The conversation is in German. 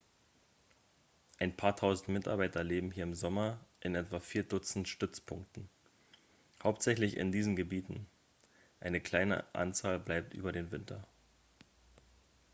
ein paar tausend mitarbeiter leben hier im sommer in etwa vier dutzend stützpunkten hauptsächlich in diesen gebieten eine kleine anzahl bleibt über den winter